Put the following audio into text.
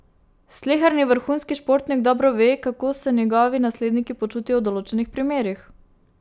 Sleherni vrhunski športnik dobro ve, kako se njegovi nasledniki počutijo v določenih primerih.